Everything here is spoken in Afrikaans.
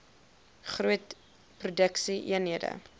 groot produksie eenhede